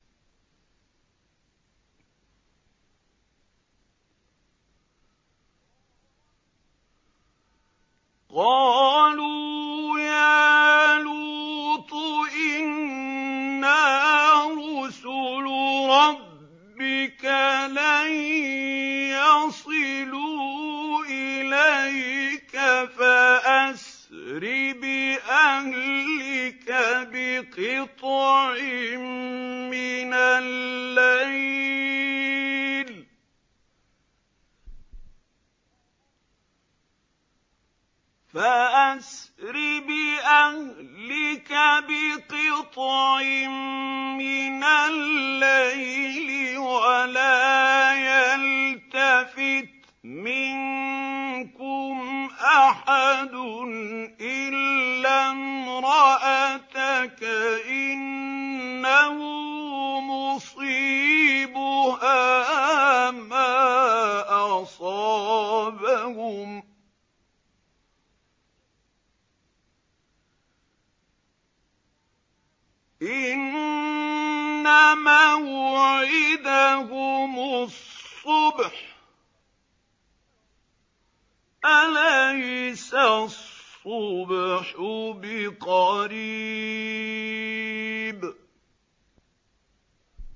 قَالُوا يَا لُوطُ إِنَّا رُسُلُ رَبِّكَ لَن يَصِلُوا إِلَيْكَ ۖ فَأَسْرِ بِأَهْلِكَ بِقِطْعٍ مِّنَ اللَّيْلِ وَلَا يَلْتَفِتْ مِنكُمْ أَحَدٌ إِلَّا امْرَأَتَكَ ۖ إِنَّهُ مُصِيبُهَا مَا أَصَابَهُمْ ۚ إِنَّ مَوْعِدَهُمُ الصُّبْحُ ۚ أَلَيْسَ الصُّبْحُ بِقَرِيبٍ